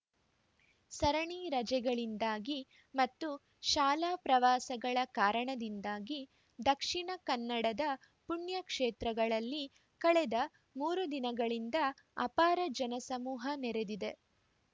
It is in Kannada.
ಸರಣಿ ರಜೆಗಳಿಂದಾಗಿ ಮತ್ತು ಶಾಲಾ ಪ್ರವಾಸಗಳ ಕಾರಣದಿಂದಾಗಿ ದಕ್ಷಿಣ ಕನ್ನಡದ ಪುಣ್ಯ ಕ್ಷೇತ್ರಗಳಲ್ಲಿ ಕಳೆದ ಮೂರು ದಿನಗಳಿಂದ ಅಪಾರ ಜನ ಸಮೂಹ ನೆರೆದಿದೆ